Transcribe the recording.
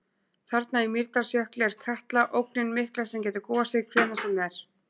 Þarna í Mýrdalsjökli er Katla, ógnin mikla sem getur gosið hvenær sem er.